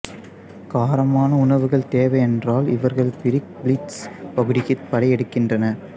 காரமான உணவுகள் தேவை என்றால் இவர்கள் பிரிக்பீல்ட்ஸ் பகுதிக்குப் படையெடுக்கின்றனர்